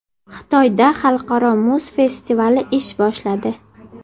Xitoyda Xalqaro muz festivali ish boshladi .